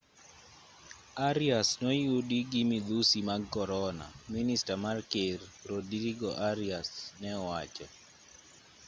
arias noyudi gi midhusi mag korona minista mar ker rodrigo arias ne owacho